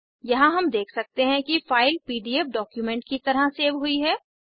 यहाँ हम देख सकते हैं कि फाइल पीडीएफ डॉक्यूमेंट की तरह सेव हुई है